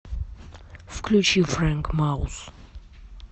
включи фрэнк маус